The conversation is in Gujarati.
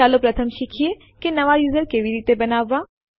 ચાલો પ્રથમ શીખીએ કે નવા યુઝર કેવી રીતે બનાવવા